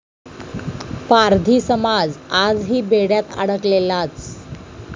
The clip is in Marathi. पारधी समाज आजही बेड्यात अडकलेलाच!